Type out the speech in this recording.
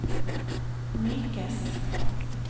mykes